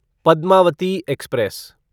Padmavati express